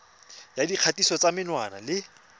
ya dikgatiso tsa menwana le